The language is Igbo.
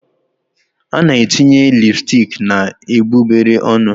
A na-etinye lipsticks na egbugbere ọnụ